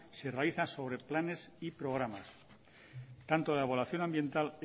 se realiza sobre planes y programas tanto la evaluación ambiental